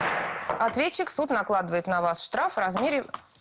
ответчик суд накладывает на вас штраф в размере